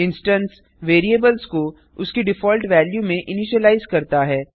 instance variables को उसकी default value में इनिशिलाइज करता है